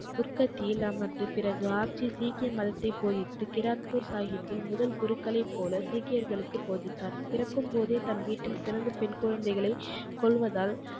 குர்க்கத்தியில் அமர்ந்து, பிறகு ஆட்சி சீக்கிய மதத்தைப் போதித்து கிராக்ப்பூர் சாகிப்பில் முதல் குருக்களைப் போல சீக்கியர்களுக்குப் போதித்தார். பிறக்கும் போதே தன் வீட்டில் பிறந்த பெண் குழந்தைகளை கொல்வதால்,